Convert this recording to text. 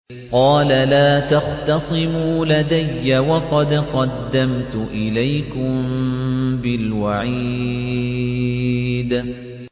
قَالَ لَا تَخْتَصِمُوا لَدَيَّ وَقَدْ قَدَّمْتُ إِلَيْكُم بِالْوَعِيدِ